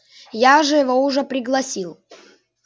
я же его уже пригласил